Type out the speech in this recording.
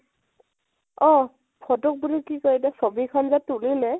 অ photo ক বুলি কি কয় এতিয়া ছৱি খন যে তুলিলে